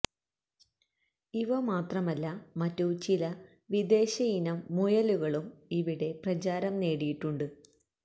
ഇവ മാത്രമല്ല മറ്റു ചില വിദേശയിനം മുയലുകളും ഇവിടെ പ്രചാരം നേടിയിട്ടുണ്ട്